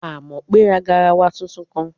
Àmọ̀pé ra garawa tuntun kan